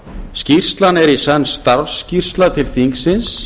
skýrslan er í senn starfsskýrsla til þingsins